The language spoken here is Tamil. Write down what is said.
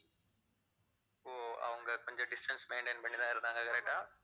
ஓ அவங்க கொஞ்சம் distance maintain பண்ணிதான் இருந்தாங்க correct ஆ